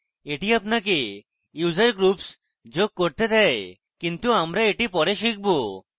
এটি আপনাকে user groups যোগ করতে দেয় কিন্তু আমরা এটি পরে শিখব